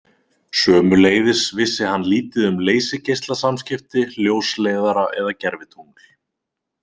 Sömuleiðis vissi hann lítið um leysigeislasamskipti, ljósleiðara eða gervitungl.